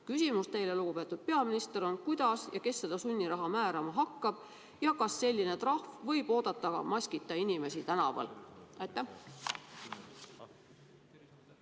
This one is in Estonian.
Küsimus teile, lugupeetud peaminister, on: kuidas ja kes seda sunniraha määrama hakkab ja kas selline trahv võib oodata ka maskita inimesi tänaval?